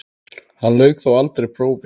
Hann lauk þó aldrei prófi.